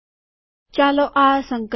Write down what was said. ચાલો આ સંકલન કરીએ